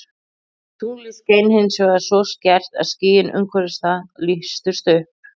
Tunglið skein hins vegar svo skært að skýin umhverfis það lýstust upp.